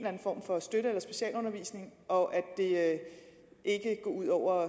anden form for støtte eller specialundervisning og ikke går ud over